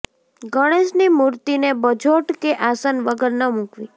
ગણેશની મૂર્તિને બજોટ કે આસન વગર ન મૂકવી